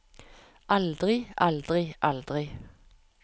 aldri aldri aldri